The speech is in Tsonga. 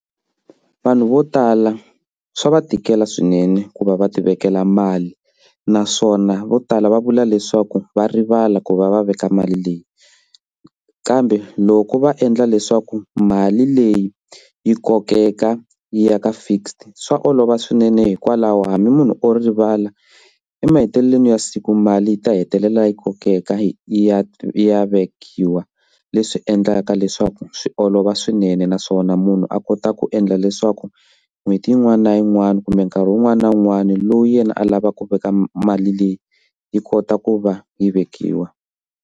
Vanhu vo tala swa va tikela swinene ku va va ti vekela mali naswona vo tala va vula leswaku va rivala ku va va veka mali leyi kambe loko va endla leswaku mali leyi yi kokeka yi ya ka fixed swa olova swinene hikwalaho hambi munhu o rivala emahetelelweni ya siku mali yi ta hetelela yi kokeka yi ya yi ya vekiwa leswi endlaka leswaku swi olova swinene naswona munhu a kota ku endla leswaku n'hweti yin'wana na yin'wana kumbe nkarhi wun'wani na wun'wani lowu yena alavaka ku veka mali leyi yi kota ku va yi vekiwa.